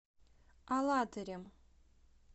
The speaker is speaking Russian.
алатырем